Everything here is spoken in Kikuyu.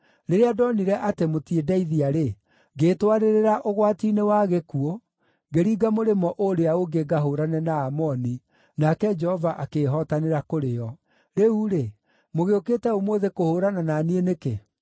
Rĩrĩa ndonire atĩ mũtindeithia-rĩ, ngĩĩtwarĩrĩra ũgwati-inĩ wa gĩkuũ, ngĩringa mũrĩmo ũũrĩa ũngĩ ngahũũrane na Aamoni, nake Jehova akĩĩhotanĩra kũrĩ o. Rĩu-rĩ, mũgĩũkĩte ũmũthĩ kũhũũrana na niĩ nĩkĩ?”